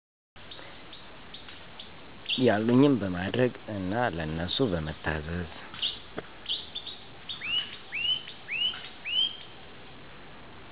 ያሉኝን በማድረግ እና ለነሱ በመታዘዝ።